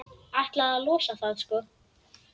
Ætlaði að losa það, sko.